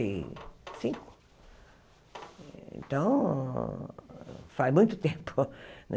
E cinco então, faz muito tempo.